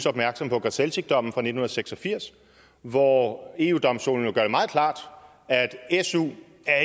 opmærksom på grzelczykdommen fra nitten seks og firs hvor eu domstolen jo gør det meget klart at su